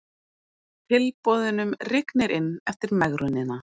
Tilboðunum rignir inn eftir megrunina